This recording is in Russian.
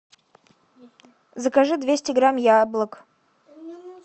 закажи двести грамм яблок